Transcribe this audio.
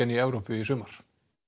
í Evrópu í sumar